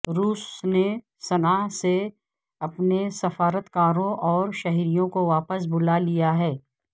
روس نے صناء سے اپنے سفارتکاروں اور شہریوں کو واپس بلا لیا ہے